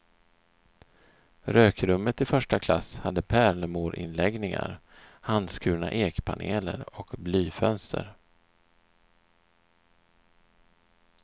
Rökrummet i första klass hade pärlemorinläggningar, handskurna ekpaneler och blyfönster.